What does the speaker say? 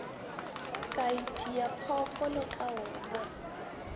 ka itia phoofolo ka wona